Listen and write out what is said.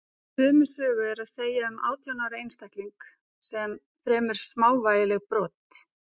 sömu sögu er að segja um átján ára einstakling sem fremur smávægilegt brot